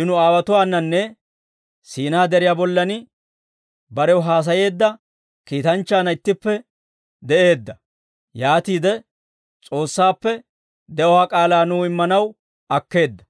I nu aawotuwaananne Siinaa Deriyaa bollan barew haasayeedda kiitanchchaanna ittippe de'eedda. Yaatiide S'oossaappe de'uwaa k'aalaa nuw immanaw akkeedda.